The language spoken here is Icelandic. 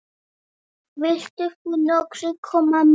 Vilt þú nokkuð koma með?